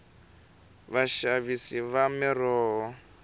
vaxavisi va miroho